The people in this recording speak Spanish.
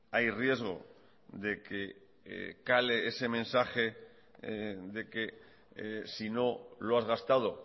hay riesgo de que cale ese mensaje de que si no lo has gastado